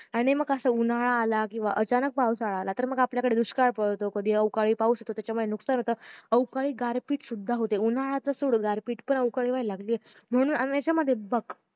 आणि मग असं उन्हाळा आला किंवा अचानक पावसाळा आला तर मग आपल्याकडे दुष्काळ पडतो कधी अवकाळी पाऊस मग त्याच्यामुळे नुकसान होत अवकाळी गारपीतसुद्धा होते उन्हाळाच सोड गारपीट पण अवकाळी होयला लागलीय आणि येच मध्ये